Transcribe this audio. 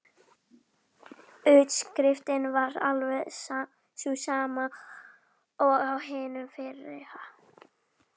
Utanáskriftin var alveg sú sama og á hinu fyrra.